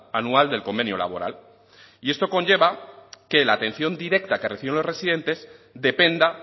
anual del convenio laboral y esto conlleva que la atención directa que reciben los residentes dependa